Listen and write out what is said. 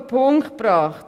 Auf den Punkt gebracht: